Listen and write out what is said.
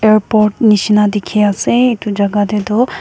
airport nisna dikhi ase etu jaga teh tu.